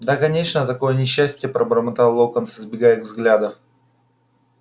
да конечно такое несчастье пробормотал локонс избегая их взглядов